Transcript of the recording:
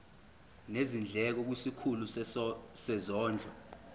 nezindleko kwisikhulu sezondlo